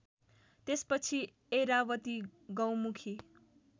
त्यसपछि ऐरावती गौमुखी